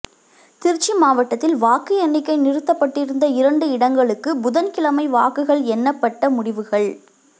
திருச்சி மாவட்டத்தில் வாக்கு எண்ணிக்கை நிறுத்தப்பட்டிருந்த இரண்டு இடங்களுக்கு புதன்கிழமை வாக்குகள் எண்ணப்பட்ட முடிவுகள்